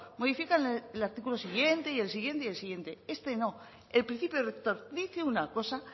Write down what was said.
modifican el artículo siguiente y el siguiente y el siguiente este no el principio rector dice una cosa